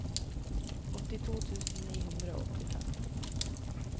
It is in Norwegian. åttito tusen ni hundre og åttifem